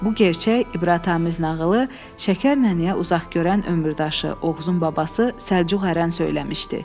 Bu gerçək ibrətamiz nağılı Şəkər nənəyə uzaq görən ömürdaşı Oğuzun babası Səlcuq Ərən söyləmişdi.